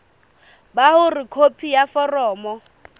ba hore khopi ya foromo